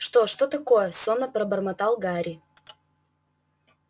что что такое сонно пробормотал гарри